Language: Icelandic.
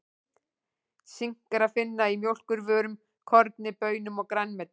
Sink er að finna í mjólkurvörum, korni, baunum og grænmeti.